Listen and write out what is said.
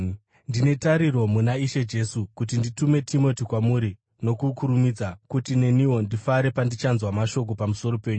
Ndine tariro muna Ishe Jesu kuti nditume Timoti kwamuri nokukurumidza, kuti neniwo ndifare pandichanzwa mashoko pamusoro penyu.